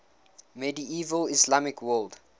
medieval islamic world